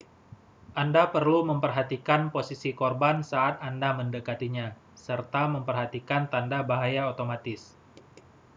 anda perlu memperhatikan posisi korban saat anda mendekatinya serta memperhatikan tanda bahaya otomatis